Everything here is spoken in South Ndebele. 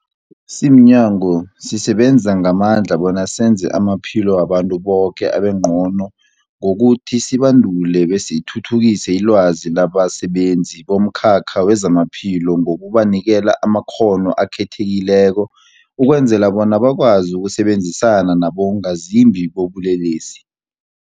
Simnyango, sisebenza ngamandla bona senze amaphilo wabantu boke abengcono ngokuthi sibandule besithuthukise ilwazi labasebenzi bomkhakha wezamaphilo ngokubanikela amakghono akhethekileko ukwenzela bona bakwazi ukusebenzisana nabongazimbi bobulelesi.